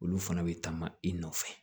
Olu fana bɛ taama i nɔfɛ